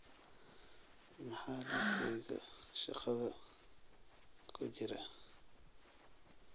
maxaa liiskayga shaqadha ku jira